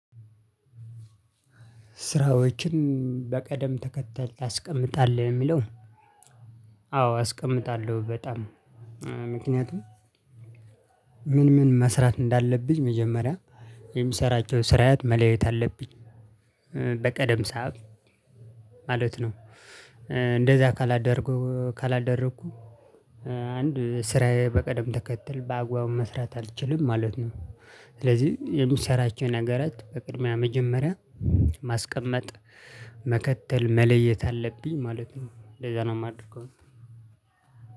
ስራዎችን በቀደም ተከተል ታስቀምጣለህ የሚለው? አዎ አስቀምጣለሁ። በጣም ምክንያቱም። ምን ምን መስራት እንዳለብኝ መጀመሪያ የሚሰራቸው ስራያት መለየት አለብኝ። በቀደም ሰዓት ማለት ነው። እንደዛ ካላደረኩ ካላደረኩ አንድ ስራዬ በቀደም ተከትል በአግባቡ መስራት አልችልም ማለት ነው። ስለዚህ የምትሰራቸው ነገራት በቅድሚያ መጀመሪያ ማስቀመጥ መከተል መለየት አለብኝ ማለት ነው። ለዛ ነው የማደርገው።